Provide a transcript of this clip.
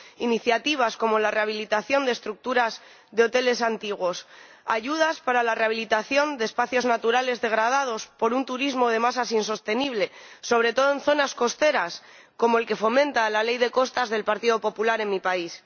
iniciativas como la rehabilitación de estructuras de hoteles antiguos, ayudas para la rehabilitación de espacios naturales degradados por un turismo de masas insostenible —sobre todo en zonas costeras— como el que fomenta la Ley de Costas del Partido Popular en mi país.